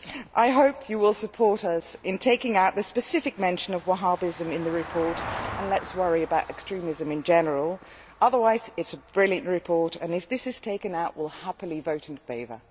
I hope you will support us in taking out the specific mention of Wahhabism in the report and let us worry about extremism in general. Otherwise it is a brilliant report and if this is taken out we will happily vote in favour.